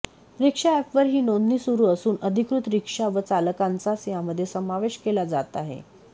रिक्षा अॅपवर ही नोंदणी सुरू असून अधिकृत रिक्षा व चालकांचाच यामध्ये समावेश केला जात आहे